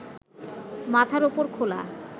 মাথার ওপর খোলা